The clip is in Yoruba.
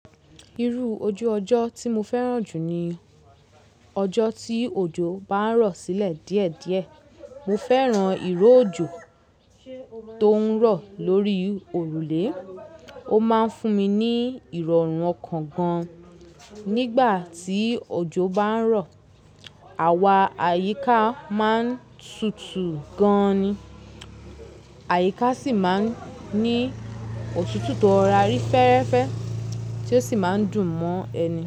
Irú ojú ọjọ́ tí mo fẹ́ràn jù ni ọjọ́ tí òjò bá ń rọ̀ sílẹ̀ díẹ̀díẹ̀. Mo fẹ́ràn ìró òjò tó ń rọ̀ lórí òrùlé. Ó máa ń fún mi ní ìrọ̀rùn ọkàn gan-an. Nígbà tí òjò bá ń rọ̀, àwa àyíká máa ń tutù gan-an ni. Àyíká sì máa ń ní òtútù tó rora ri fẹ́ẹ́rẹ́fẹ́ tí ó sì máa ń dùn mọ́ ẹni.